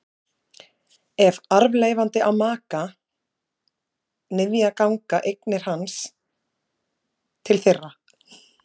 Ef arfleifandi á maka eða niðja ganga eignir hans til þeirra.